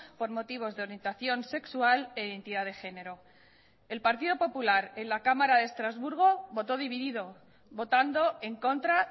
por motivos de orientación sexual e identidad de género el partido popular en la cámara de estrasburgo votó dividido votando en contra